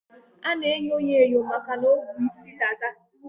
A na-enyo ya enyo makana o bu isi dada.